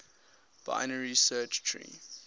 binary search tree